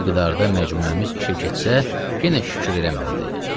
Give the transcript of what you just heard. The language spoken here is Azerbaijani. Və bu miqdarda məcmuəmiz işə keçsə, yenə şükür eləməlidir.